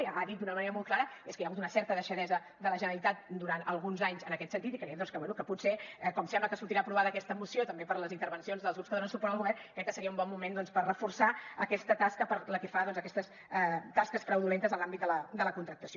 i ha dit d’una manera molt clara és que hi ha hagut una certa deixadesa de la generalitat durant alguns anys en aquest sentit i creiem doncs que bé que potser com sembla que sortirà aprovada aquesta moció també per les intervencions dels grups que donen suport al govern crec que seria un bon moment per reforçar aquesta tasca pel que fa a aquestes tasques fraudulentes en l’àmbit de la contractació